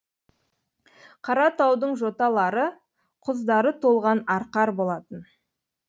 қаратаудың жоталары құздары толған арқар болатын